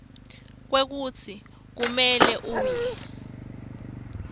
kwekutsi kumele uye